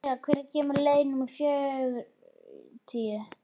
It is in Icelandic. Emilía, hvenær kemur leið númer fjörutíu?